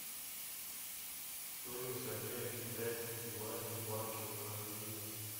стоимость обмена китайских юаней в банке возрождение